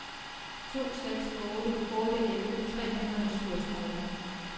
to seks otte otte elleve tre hundrede og syvogtredive